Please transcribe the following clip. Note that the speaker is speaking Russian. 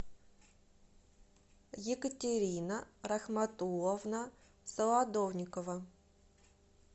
екатерина рахматулловна солодовникова